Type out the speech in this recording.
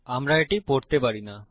আমরা এটি পড়তে পারি না